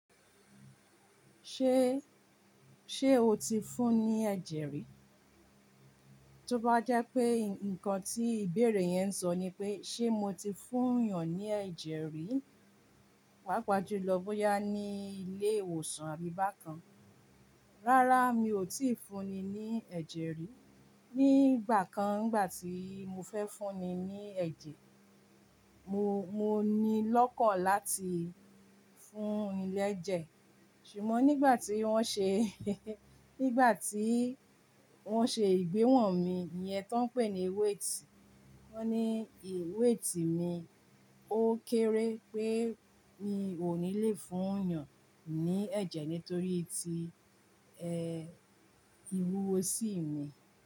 Ṣé, ṣe o ti fún ní ẹ̀jẹ̀ rí? Tí ó bá jẹ́ pé nǹkan tí ìbéèrè yẹn sọ ni pé, ṣe mo ti fún èèyàn ní ẹ̀jẹ̀ rí? Pàápàá julọ bóyá ni ilé ìwòsàn àbí bá kan. Rára mi ò tíì fún ni, ní ẹ̀jẹ̀ rí. Ni ìgbà kan, ìgbátí mo fẹ́ fún ni ní ẹ̀jẹ̀, mo, mo ní lọ́kọ̀ láti, fún ní lẹ́jẹ̀. Ṣùgbọ́n nígbà tí wọ́n ṣe, nígbà tí wọ́n ṣe ìgbéwọ̀n mi, e yẹn tí wọ́n ń pè ní weight, wọ́n ní e weight mi ó kéré pé mi ò ní le fún èèyàn ní ẹ̀jẹ̀ nítorí ti, ẹh. Ìwúwo sí mi.